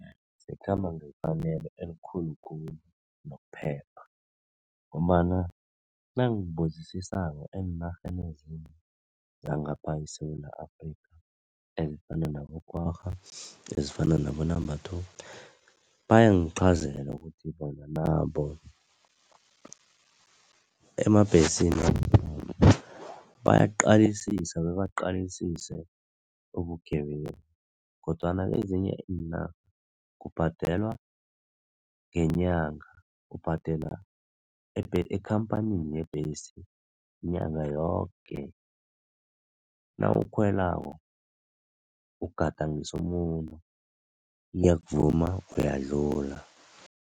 Zikhamba ngefanelo elikhulu khulu nokuphepha ngombana nangibuzisisako eenarheni ezinye zangapha eSewula Afrika ezifana nabo-Kwagga ezifana nabo-Number Two bayangiqhazela ukuthi nabo emabhesini wangekhabo bayaqalisisa bebaqalisise ubugebengu kodwana kezinye iinarha kubhadelwa ngenyanga, ubhadela ekhampanini yebhesi nyanga yoke nawukhwelako ugadangisa umuno iyakuvuma uyadlula.